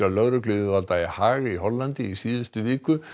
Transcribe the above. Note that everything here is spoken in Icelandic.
lögregluyfirvalda í Haag í Hollandi í síðustu viku